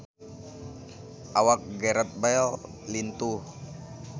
Awak Gareth Bale lintuh